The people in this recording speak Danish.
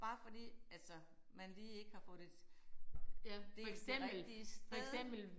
Bare fordi altså man lige ikke har fået det det ikke det rigtige sted